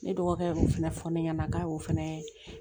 Ne dɔgɔkɛ y'o fɛnɛ fɔ ne ɲɛna k'a y'o fana